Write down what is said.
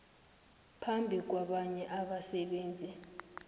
phambi kwabanye abasebenzi